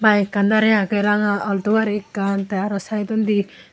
bike an dareh agey ranga altu gari ekkan te aro sideondi.